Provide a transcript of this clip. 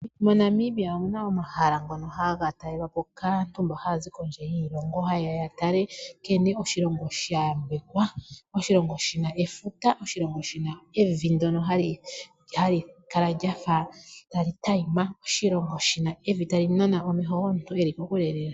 MoNamibia omuna omahala ngono haga talelwapo kaantu haya zi kondje yiilongo haye ya yatale nkene oshilongo shayambekwa, oshilongo shina efuta, oshilongo shina evi ndyono hali kala lyafa tali tayima, oshilongo shina evi tali nana omesho gomuntu eli kokule lela.